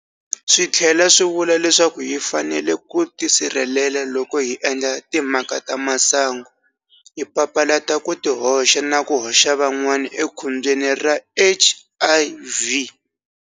Swi tlhela swi vula leswaku hi fanele ku tisirhelela loko hi endla timhaka ta swa masangu hi papalata ku tihoxa na ku hoxa van'wana ekhombyeni ra HIV.